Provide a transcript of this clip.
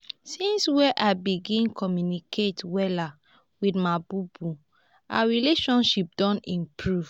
since wey i begin communicate wella wit my bobo our relationship don improve.